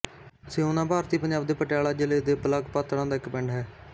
ਸਿਓਨਾ ਭਾਰਤੀ ਪੰਜਾਬ ਦੇ ਪਟਿਆਲਾ ਜ਼ਿਲ੍ਹੇ ਦੇ ਬਲਾਕ ਪਾਤੜਾਂ ਦਾ ਇੱਕ ਪਿੰਡ ਹੈ